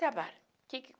Trabalho. Que que